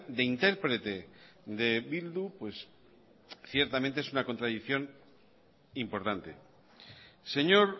de interprete de bildu pues ciertamente es una contradicción importante señor